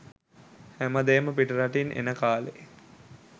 හැමදේම පිටරටින් එන කාලේ